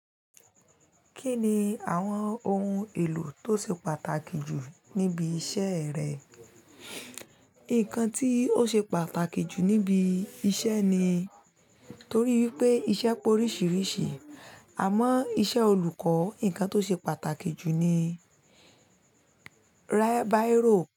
Kí ni àwọn ohun èlò tó ṣe pàtàkì jù níbi iṣẹ́ rẹ? Nǹkan tí ó ṣe pàtàkì jù níbi iṣẹ́ ni, torí i pé iṣẹ́ pé oríṣiríṣi. Àmọ́ iṣẹ́ olùkọ́, ǹkan tó ṣe pàtàkì jù ni bírò.